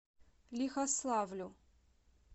лихославлю